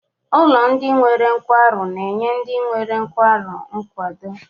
Ụlọ ndị nwere nkwarụ na-enye ndị nwere nkwarụ nkwado.